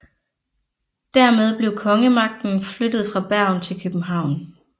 Dermed blev kongemagten flyttet fra Bergen til København